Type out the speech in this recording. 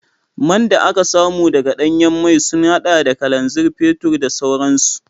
Man da aka samu daga danyen mai sun hada da kananzir, fetur da sauransu